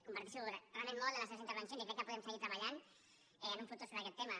comparteixo realment molt les seves intervencions i crec que podem seguir treballant en el futur sobre aquest tema